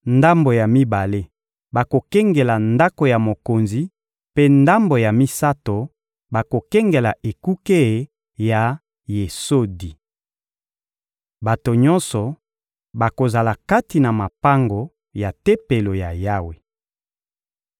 ndambo ya mibale bakokengela ndako ya mokonzi, mpe ndambo ya misato bakokengela ekuke ya Yesodi. Bato nyonso bakozala kati na mapango ya Tempelo ya Yawe.